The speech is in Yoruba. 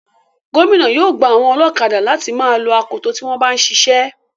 Gómìnà yóò gba àwọn ọlọ́kadà láti má a lo akoto tí wọ́n bá ń siṣẹ́.